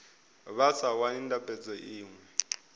vha sa wani ndambedzo iṅwe